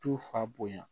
Tu fa bonya